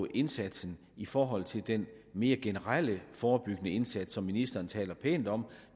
indsatsen i forhold til den mere generelle forebyggende indsats som ministeren taler pænt om